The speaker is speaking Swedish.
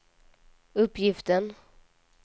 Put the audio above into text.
uppgiften